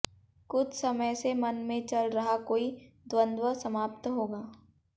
कुछ समय से मन में चल रहा कोई द्वंद समाप्त होगा